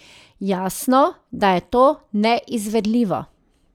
Jasno, da je to neizvedljivo.